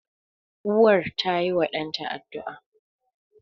Uwar tayiwa ɗanta addu'a.